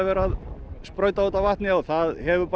að sprauta á þetta vatni en það hefur